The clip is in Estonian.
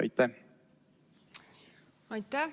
Aitäh!